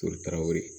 Foli tarawele